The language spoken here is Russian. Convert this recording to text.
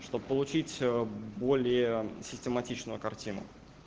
чтобы получить более систематичную картину